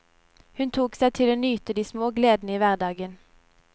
Hun tok seg tid til å nyte de små gleder i hverdagen.